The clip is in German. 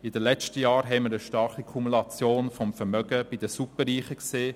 In den letzten Jahren haben wir eine starke Kumulation des Vermögens bei den Superreichen gesehen;